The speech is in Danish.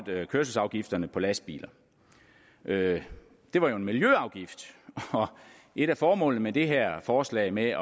kørselsafgifterne på lastbiler det var jo en miljøafgift og et af formålene med det her forslag med